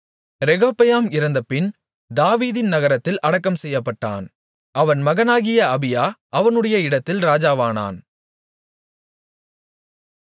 ரெகொபெயாம் இறந்தபின் தாவீதின் நகரத்தில் அடக்கம் செய்யப்பட்டான் அவன் மகனாகிய அபியா அவனுடைய இடத்தில் ராஜாவானான்